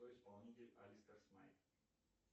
кто исполнитель алистер смайт